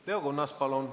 Leo Kunnas, palun!